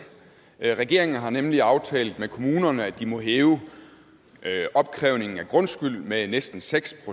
regeringen har nemlig aftalt med kommunerne at de må hæve opkrævningen af grundskylden med næsten seks